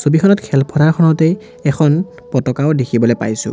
ছবিখনত খেল পথাৰখনতেই এখন পতকাও দেখিবলৈ পাইছোঁ।